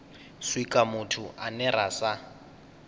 swika muthu ane ra sa